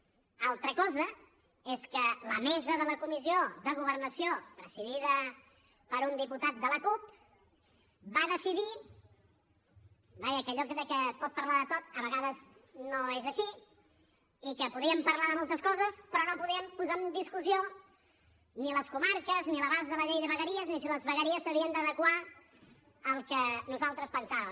altra cosa és que la mesa de la comissió de governació presidida per un diputat de la cup va decidir vaja que allò de que es pot parlar de tot a vegades no és així que podíem parlar de moltes coses però no podem posar en discussió ni les comarques ni l’abast de la llei de vegueries ni si les vegueries s’havien d’adequar al que nosaltres pensàvem